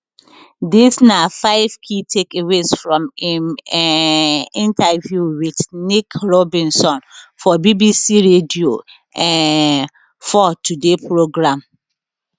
dis na five key takeaways from im um interview wit nick robinson for bbc radio um four today programme